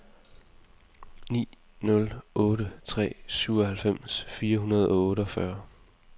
ni nul otte tre syvoghalvfems fire hundrede og otteogfyrre